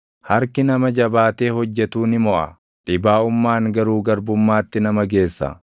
Harki nama jabaatee hojjetuu ni moʼa; dhibaaʼummaan garuu garbummaatti nama geessa.